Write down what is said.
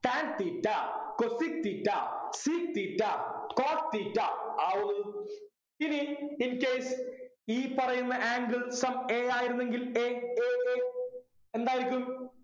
tan theta cosec theta sec theta cot theta ആവുന്നത് ഇനി in case ഈ പറയുന്ന angles some a ആയിരുന്നെങ്കിൽ a a a എന്തായിരിക്കും